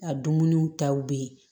A dumuniw taw be yen